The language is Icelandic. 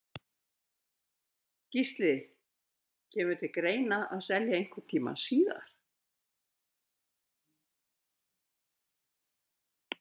Gísli: Kemur til greina selja einhvern tímann síðar?